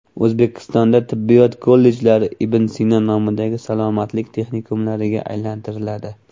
O‘zbekistonda tibbiyot kollejlari Ibn Sino nomidagi salomatlik texnikumlariga aylantiriladi.